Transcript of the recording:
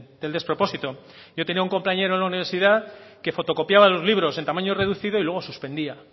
del despropósito yo tenía un compañero en la universidad que fotocopiaba los libros en tamaño reducido y luego suspendía